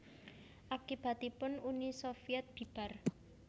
Akibatipun Uni Sovyèt bibar